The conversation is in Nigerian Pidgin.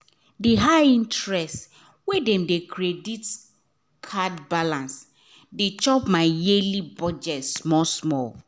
the high interest wey dem dey credit card balance dey chop my yearly budget small small.